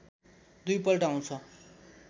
दुई पल्ट आउँछ